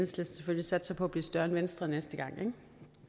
selvfølgelig satser på at blive større end venstre næste gang ikke